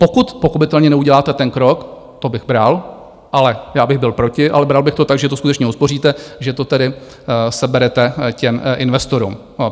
Pokud pochopitelně neuděláte ten krok, to bych bral, ale já bych byl proti, ale bral bych to tak, že to skutečně uspoříte, že to tedy seberete těm investorům.